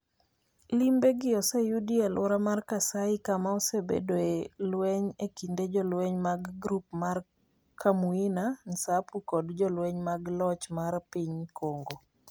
Limbe gi oseyudi e aluora mar Kasai kama osebedoe lweny e kind jolweny mag grup mar Kamuina Nsapu kod jolweny mag loch mar piny Congo.